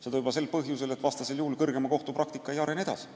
Seda juba põhjusel, et vastasel juhul kõrgeima kohtu praktika ei arene edasi.